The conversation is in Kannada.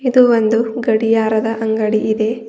ಇದು ಒಂದು ಗಡಿಯಾರದ ಅಂಗಡಿ ಇದೆ.